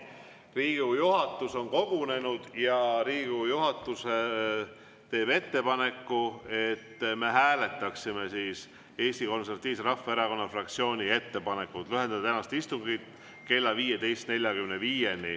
Riigikogu juhatus on kogunenud ja Riigikogu juhatus teeb ettepaneku, et me hääletaksime Eesti Konservatiivse Rahvaerakonna fraktsiooni ettepanekut lühendada tänast istungit kella 15.45‑ni.